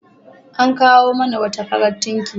An kawo mana wata farar tunkiya.